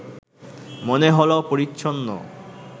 মনে হলো পরিচ্ছন্ন